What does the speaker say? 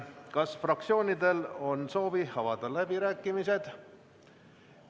Kas fraktsioonidel on soovi avada läbirääkimised?